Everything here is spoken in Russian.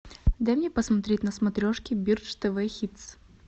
дай мне посмотреть на смотрешке бридж тв хитс